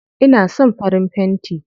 Ina son farin fenti.